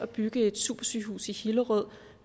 bygget et supersygehus i hillerød